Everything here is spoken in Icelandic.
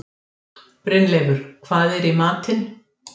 Því má ætla að hér á landi sé nokkur fjöldi ókynþroska ungfugla.